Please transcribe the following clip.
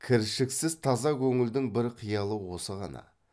кіршіксіз таза көңілдің бір қиялы осы ғана